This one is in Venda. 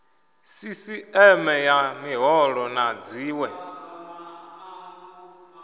sisieme ya miholo na dziwe